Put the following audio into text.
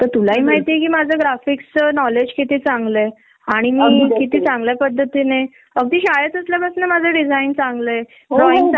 त्या मग के आपल्या शिक्षणाचा उपयोग नाही तिथ काही काहीच करू शकत नाही न आपण.